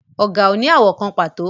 Ọ̀gà ò ní àwọ̀ kan pàtó